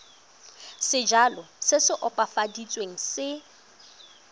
sejalo se se opafaditsweng se